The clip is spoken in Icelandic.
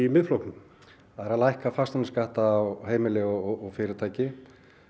Miðflokknum það er að lækka fasteignaskatta á heimili og fyrirtæki